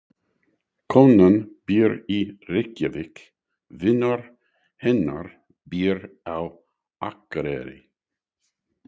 Konan býr í Reykjavík. Vinur hennar býr á Akureyri.